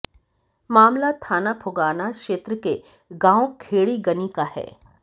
मामला थाना फुगाना क्षेत्र के गांव खेड़ी गनी का है